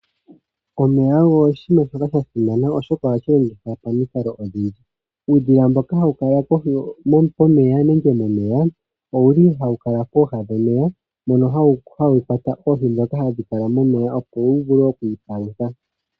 Omeya ogo oshiima shoka sha simana oshoka ohashi longithwa pamikalo odhindji. Uudhila mboka haukala kohi yomeya nenge pomeya, ohau kwata oohi opo wuvule okwiipalutha.